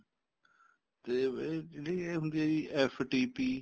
ਤੇ ਇਹ ਜਿਹੜੀ ਇਹ ਹੁੰਦੀ ਆ FTP